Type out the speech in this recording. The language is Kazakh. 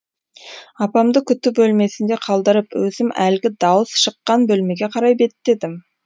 апамды күту бөлмесінде қалдырып өзім әлгі дауыс шыққан бөлмеге қарай беттедім